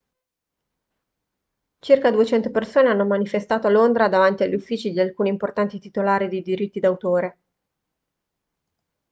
circa 200 persone hanno manifestato a londra davanti agli uffici di alcuni importanti titolari di diritti d'autore